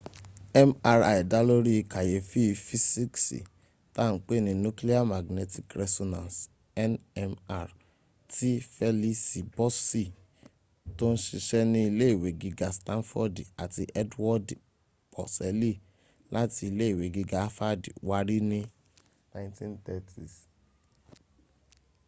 mri dálórí kàyéfì fisiksi ta n pè ní nuclear magnetic resonance nmr tí felisi boṣi tó n ṣiṣẹ́ ní ile iwe giga stanfodi àti edwodi pọseli láti ile iwe giga hafadi wárí ní 1930s